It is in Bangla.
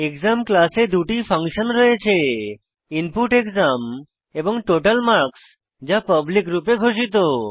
এক্সাম ক্লাসে দুটি ফাংশন রয়েছে input exam এবং total marks যা পাবলিক রূপে ঘোষিত